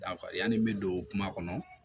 yanni n bɛ don kuma kɔnɔ